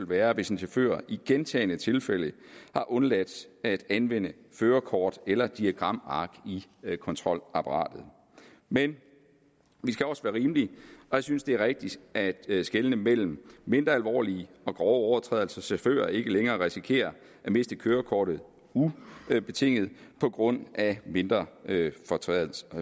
være hvis en chauffør i gentagne tilfælde har undladt at anvende førerkort eller diagramark i kontrolapparatet men vi skal også være rimelige og jeg synes det er rigtigst at skelne mellem mindre alvorlige og grove overtrædelser så chauffører ikke længere risikerer at miste kørekortet ubetinget på grund af mindre